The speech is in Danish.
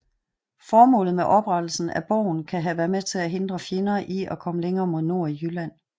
Formålet med oprettelsen af borgen kan have været at hindre fjender at komme længere mod nord i Jylland